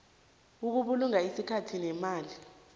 ukubulunga isikhathi nemali